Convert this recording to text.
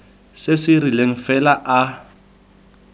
se se rileng fela a